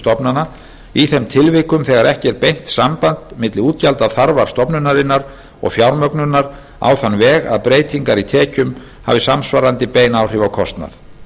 stofnana í þeim tilvikum þegar ekki er beint samband milli útgjaldaþarfar stofnunar og fjármögnunar á þann veg að breytingar í tekjum hafi samsvarandi bein áhrif á kostnað